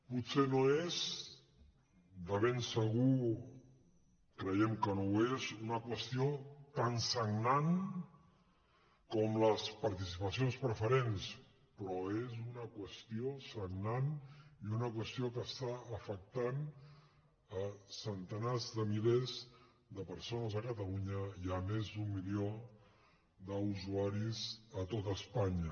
potser no és de ben segur creiem que no ho és una qüestió tan sagnant com les participaci·ons preferents però és una qüestió sagnant i una qües·tió que està afectant centenars de milers de persones a catalunya i més d’un milió d’usuaris a tot espanya